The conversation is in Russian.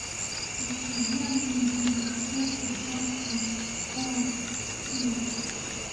повседневные деликатесы джастин скофилд